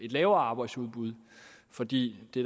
lavere arbejdsudbud fordi det